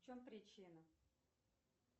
в чем причина